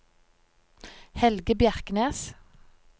Helge Bjerknes